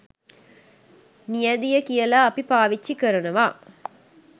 නියැදිය කියලා අපි පාවිච්චි කරනවා